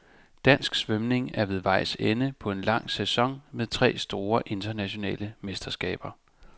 Dansk svømning er ved vejs ende på en lang sæson med tre store internationale mesterskaber.